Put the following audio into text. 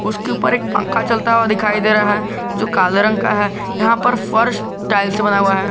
उसके ऊपर एक पंखा चलता हुआ दिखाई दे रहा है जो काले रंग का है यहां पर फर्स्ट टाइल्स से बना हुआ है।